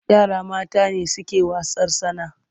Yara mata ne suke wasan'yar tsana.